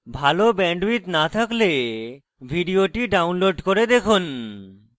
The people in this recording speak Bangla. ভাল bandwidth না থাকলে ভিডিওটি download করে দেখুন